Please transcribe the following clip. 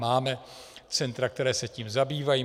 Máme centra, která se tím zabývají.